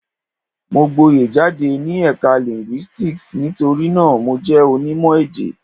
Mo gboyè jáde ní Ẹ̀ka Linguistics nítorí náà, Mo jẹ́ onímọ̀-èdè.